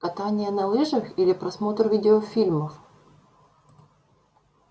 катание на лыжах или просмотр видеофильмов